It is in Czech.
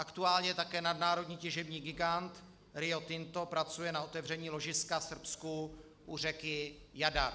Aktuálně také nadnárodně těžební gigant Rio Tinto pracuje na otevření ložiska v Srbsku u řeky Jadar.